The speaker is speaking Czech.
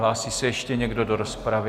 Hlásí se ještě někdo do rozpravy?